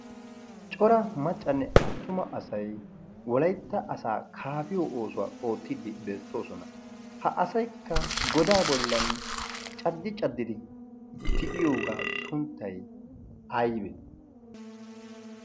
cora maccanne attuma asay wolaytta asaa kaafiyo oosuwaa oottiddi beettoosona ha asaikka godaa bollan caddi caddidi tiyiyoogaa sunttay ayibe